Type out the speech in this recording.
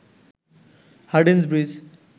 Hardinge bridge